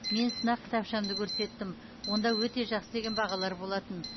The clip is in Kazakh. мен сынақ кітапшамды көрсеттім онда өте жақсы деген бағалар болатын